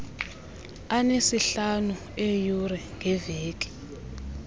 anesihlanu eeyure ngeveki